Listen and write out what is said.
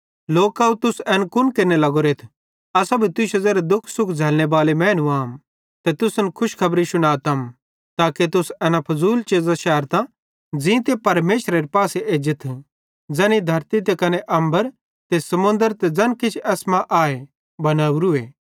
लोकव तुस एन कुन केरने लगोरेथ असां भी तुश्शे ज़ेरे दुःख सुख झ़ैल्लने बाले मैनू आम ते तुसन खुशखबरी शुनातम ताके तुस एना फुज़ूल चीज़ां शैरतां ज़ींते परमेशरेरे पासे एज्जथ ज़ैनी धरती त कने अम्बर ते समुन्द्रे ते ज़ैन किछ भी एसमां आए तैनी बनोरूए